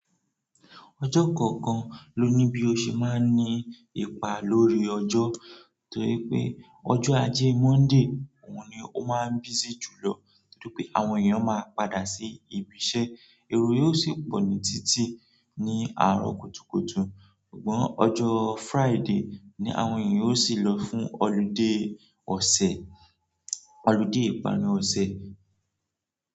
Ọjọ́ kọ̀ọ̀kan ló ní bí ó ṣe máa ń ní ipa lórí ọjọ́ torí pé ọjọ́ ajé Monday òun ni ó máa ń busy jùlọ nítorí pé àwọn èèyàn ó máa ń padà sí ibi iṣẹ́. Èrò yó sì pọ̀ ní títì ní àárọ̀ kùtùkùtù. Ṣùgbọ́n ọjọ́ Friday ni àwọn èèyàn ó sì lọ fún ọlidé ọ̀sẹ̀, ọlidé ìpanu ọ̀sẹ̀.